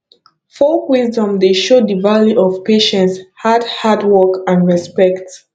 folk wisdom dey show de value of patience hard hard work and respect